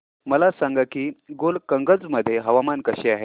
मला सांगा की गोलकगंज मध्ये हवामान कसे आहे